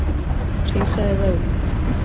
hreinsaðu það upp